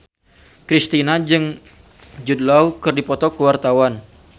Kristina jeung Jude Law keur dipoto ku wartawan